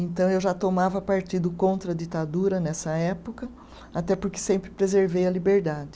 Então eu já tomava partido contra a ditadura nessa época, até porque sempre preservei a liberdade.